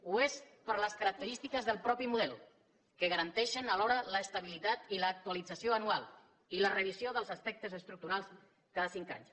ho és per les característiques del mateix model que garanteixen alhora l’estabilitat i l’actualització anual i la revisió dels aspectes estructurals cada cinc anys